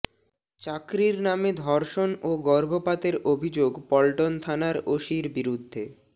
চাকরির নামে ধর্ষণ ও গর্ভপাতের অভিযোগ পল্টন থানার ওসির বিরুদ্ধে